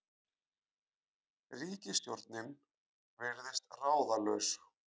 Ríkisstjórnin virðist ráðalaus